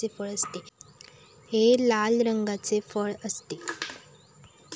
हे लाल रंगाचे फळ असते.